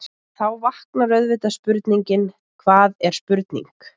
Þá vaknar auðvitað spurningin: hvað er spurning?.